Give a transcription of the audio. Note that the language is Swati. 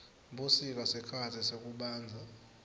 busika sikhatsi sekubandza